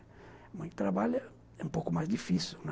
A mãe que trabalha é um pouco mais difícil, né?